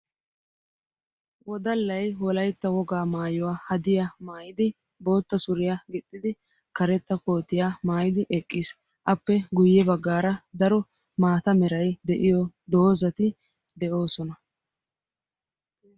Wodallay wolaytta wogaa maayuwaa hadiyaa maayidi bootta suriyaa gixxidi karetta kootiyaa maayidi eqqiis. appe guye baggaara daro maata meray de'iyoo doozati de'oosona.